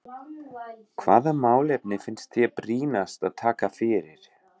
Hvaða málefni finnst þér brýnast að taka fyrir?